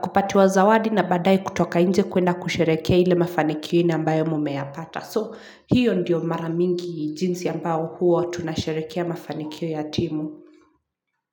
kupatiwa zawadi na baadae kutoka nje kuenda kusherehekea ile mafanikio ambayo mumeyapata So hiyo ndiyo mara mingi jinsi ambayo huwa tunasherehekea mafanikio ya timu.